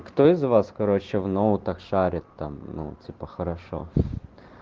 кто из вас короче в ноутах шарит там ну типа хорошо